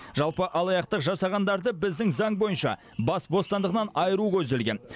жалпы алаяқтық жасағандарды біздің заң бойынша бас бостандығынан айыру көзделген